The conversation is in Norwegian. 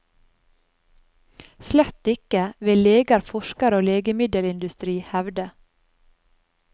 Slett ikke, vil leger, forskere og legemiddelindustri hevde.